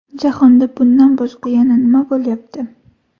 Jahonda bundan boshqa yana nima bo‘lyapti?